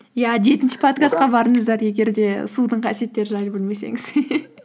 иә жетінші подкастқа барыңыздар егер де судың қасиеттері жайлы білмесеңіз